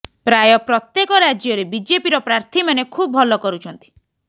ପ୍ରାୟ ପ୍ରତ୍ୟେକ ରାଜ୍ୟରେ ବିଜେପିର ପ୍ରାର୍ଥୀମାନେ ଖୁବ୍ ଭଲ କରୁଛନ୍ତି